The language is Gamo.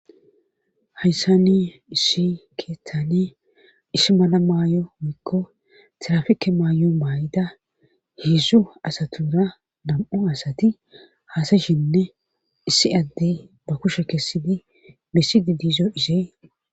Hayssa ni issi keethani isi mala maayo wokko tirafike maayo maay'ida heedzzu asatura nam'u asati haasayshinne issi addey ba kushe kessidi misidi diizo isee.